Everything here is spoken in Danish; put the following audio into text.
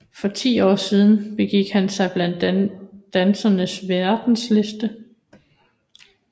For ti år siden begik han sig blandt dansens verdenselite